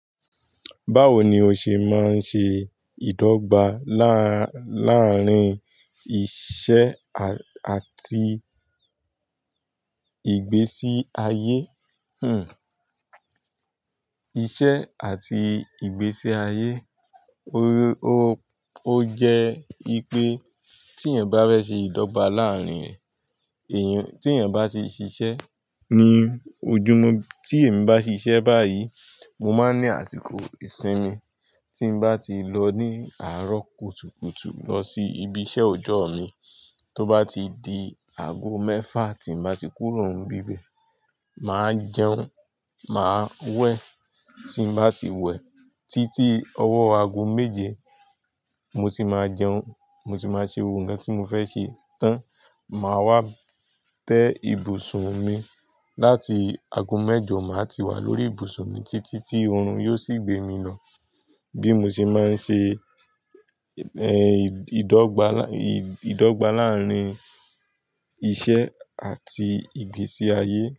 Báwo ni o ṣe máa ń ṣe ìdọ́gba láàrín iṣẹ́ àti ìgbésí ayé? Hmm. Iṣẹ́ àti ìgbésí ayé. Ó jẹ́ wipe tí yan bá fẹ́ ṣe ìdọ́gba láàrín e, tí ẹ̀yan bá ti ṣiṣẹ́. Ní ojúmu tí èmi bá ti ṣiṣẹ́ báyìí, mo máa ní àsìkò ìsinmi. Tí mo bá ti lọ ní àárọ̀ kùtùkùtù lọ sí ibi iṣẹ́ ọjọ́ mi, tó bá ti di ago mẹ́fà tí mo bá ti kúrò ń bi be, màá jẹun, màá wẹ̀. Tí n bá ti wẹ̀ títí ọwọ́ ago méje, mo sì máa jẹun, mo sì máa ṣe gbogbo oun kan tí mo fẹ́ ṣe tán. Màá wá tẹ́ ibùsùn mi láti ago mẹ́jọ, màá ti wà lórí ibùsùn mi títí tí oorun yóò sì gbé mi lọ. Bí mo ṣe máa ń ṣe, ìdọ́gba láàrín iṣẹ́ àti ìgbésí ayé.